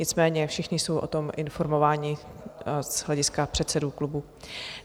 Nicméně všichni jsou o tom informováni z hlediska předsedů klubů.